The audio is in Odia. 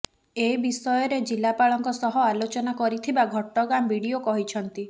ଏ ବିଷୟରେ ଜିଲ୍ଲାପାଳଙ୍କ ସହ ଆଲୋଚନା କରିଥିବା ଘଟଗାଁ ବିଡ଼ିଓ କହିଛନ୍ତି